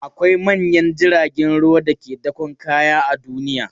Akwai manyan jiragen ruwa da ke dakon kaya a duniya.